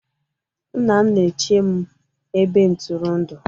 nna m na-eche m ebe ntụrụndụ